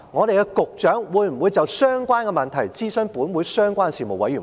局長會否就相關問題諮詢本會相關的事務委員會？